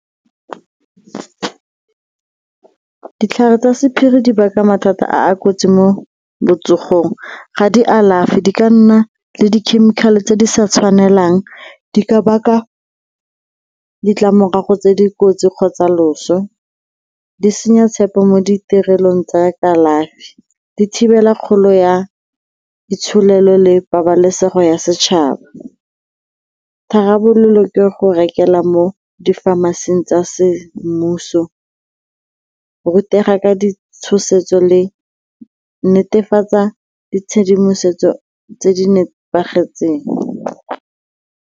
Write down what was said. Ditlhare tsa sephiri di baka mathata a a kotsi mo botsogong, ga di alafe, di ka nna le di-chemical-e tse di sa tshwanelang, di ka baka ditlamorago tse di kotsi kgotsa loso, di senya tshepo mo ditirelong tsa kalafi, di thibela kgolo ya ditsholofelo le pabalesego ya setšhaba. Tharabololo ke go rekelwa mo di-pharmacy-ing tsa semmuso, rutega ka ditshosetso le netefatsa ditshedimosetso tse di nepagetseng.